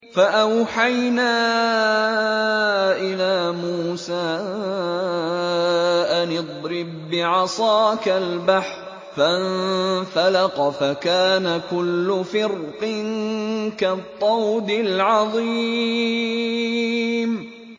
فَأَوْحَيْنَا إِلَىٰ مُوسَىٰ أَنِ اضْرِب بِّعَصَاكَ الْبَحْرَ ۖ فَانفَلَقَ فَكَانَ كُلُّ فِرْقٍ كَالطَّوْدِ الْعَظِيمِ